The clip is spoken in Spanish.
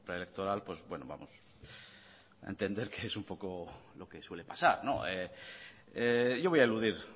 preelectoral pues bueno vamos a entender que es un poco lo que suele pasar yo voy a eludir